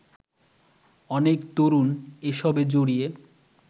অনেক তরুণ এসবে জড়িয়ে